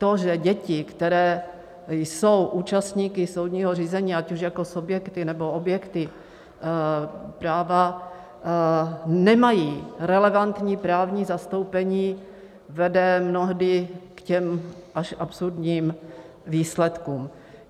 To, že děti, které jsou účastníky soudního řízení, ať už jako subjekty, nebo objekty práva, nemají relevantní právní zastoupení, vede mnohdy k těm až absurdním výsledkům.